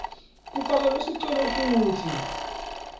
kufakelwe sicelo futsi